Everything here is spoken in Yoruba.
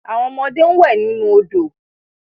Awon omode n we ninu odo